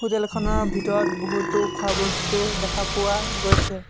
Hotel খনৰ ভিতৰত বহুতো খোৱা বস্তু দেখা পোৱা গৈছে।